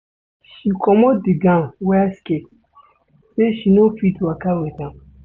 She comot di gown wear skirt sey she no fit waka wit am.